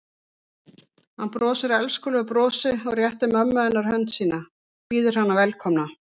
Hann brosir elskulegu brosi og réttir mömmu hennar hönd sína, býður hana velkomna.